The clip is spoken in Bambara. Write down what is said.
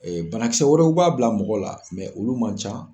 Banakisɛ wɛrɛw b'a bila mɔgɔ la olu man ca